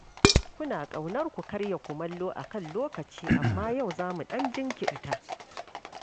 Kuna ƙaunar ku karya kumallo a kan lokaci, amma yau za mu ɗan jinkirta.